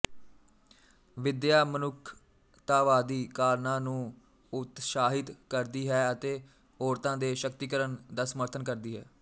ਵਿਦਿਆ ਮਨੁੱਖਤਾਵਾਦੀ ਕਾਰਨਾਂ ਨੂੰ ਉਤਸ਼ਾਹਿਤ ਕਰਦੀ ਹੈ ਅਤੇ ਔਰਤਾਂ ਦੇ ਸ਼ਕਤੀਕਰਨ ਦਾ ਸਮਰਥਨ ਕਰਦੀ ਹੈ